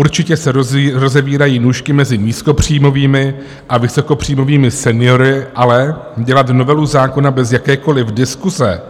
Určitě se rozevírají nůžky mezi nízkopříjmovými a vysokopříjmovými seniory, ale dělat novelu zákona bez jakékoli diskuse,